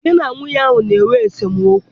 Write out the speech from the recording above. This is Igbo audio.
Di na nwunye ahụ na-enwe esemokwu.